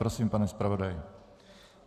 Prosím, pane zpravodaji.